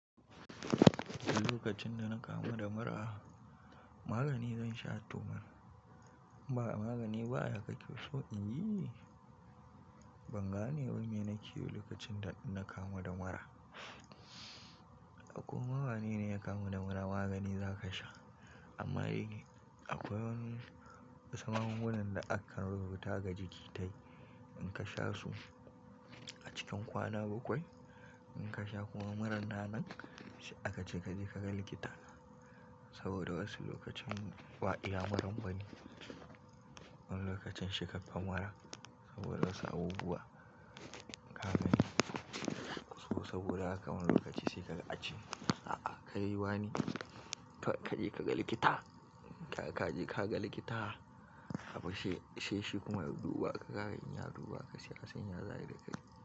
Lokacin da na kamu da mura magani zan sha toh man. In ba magani ba ya kake so in yi. Ban gane wai me nake yi ba lokacin da na kamu da mura. Koma wane ne ya kamu da mura magani za ka sha. Amma akwai wasu magungunan da aka rubuta ga jiki ta yi. In ka sha su a cikin kwana bakwai in ka sha kuma murar nan a ka je ka ga likita. Saboda wasu lokacin ba iya muran bane. Wani lokacin. Saboda wasu abubuwa ka gani saboda haka ma wani lokaci sai ace a'a kai wane kaje ka ga likita, kaje ka ga likita. Haba shi, sai shi kuma ya duba ka, in ya duba ka sai a san yaya za'a yi da kai.